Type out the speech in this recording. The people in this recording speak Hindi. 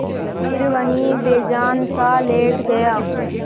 फिर वहीं बेजानसा लेट गया